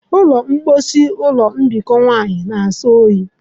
Ụlọ mposi ụlọ mbikọ nwanyị na-asọ oyi.